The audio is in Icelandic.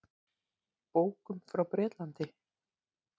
Bókum frá Bretlandi.